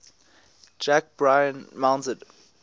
jack bryan mounted